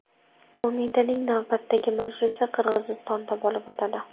Qo‘mitaning navbatdagi majlisi Qirg‘izistonda bo‘lib o‘tadi.